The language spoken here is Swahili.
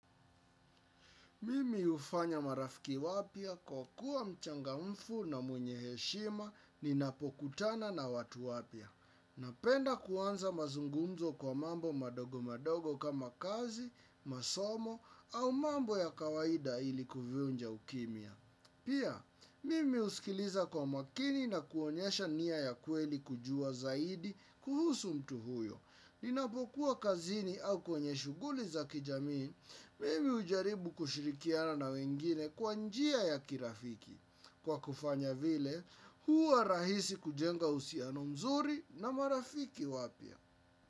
Mimi ufanya marafiki wapya kwa kuwa mchangamfu na mwenye heshima ninapokutana na watu wapya. Napenda kuanza mazungunzo kwa mambo madogo madogo kama kazi, masomo au mambo ya kawaida ili kuvunja ukimia. Pia, mimi uskiliza kwa makini na kuonyesha niya ya kweli kujua zaidi kuhusu mtu huyo. Ninapokuwa kazini au kwenye shuguli za kijamii, mimi ujaribu kushirikiana na wengine kwa njia ya kirafiki. Kwa kufanya vile, huwa rahisi kujenga uhusiano mzuri na marafiki wapya.